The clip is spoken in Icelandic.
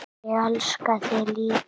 Ég elska þig líka.